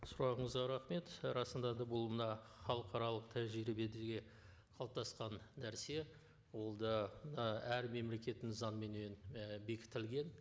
сұрағыңызға рахмет і расында да бұл мына халықаралық тәжірибедегі қалыптасқан нәрсе ол да мына әр мемлекеттің заңыменен і бекітілген